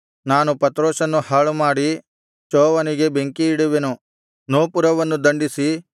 ನಾನು ಪತ್ರೋಸನ್ನು ಹಾಳುಮಾಡಿ ಚೋವನಿಗೆ ಬೆಂಕಿಯಿಡುವೆನು ನೋಪುರವನ್ನು ದಂಡಿಸಿ